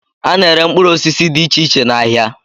A na-ere mkpụrụ osisi dị iche iche n'ahịa